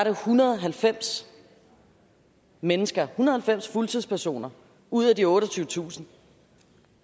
en hundrede og halvfems mennesker en og halvfems fuldtidspersoner ud af de otteogtyvetusind